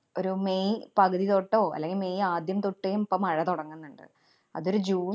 ഒരു മെയ് പകുതി തൊട്ടോ, അല്ലെങ്കി മെയ്‌ ആദ്യം തൊട്ടേം ഇപ്പ മഴ തൊടങ്ങുന്നുണ്ട്. അതൊരു ജൂണ്‍,